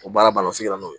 O baara ban na o sigi n'o ye